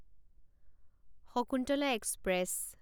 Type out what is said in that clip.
Shakuntala express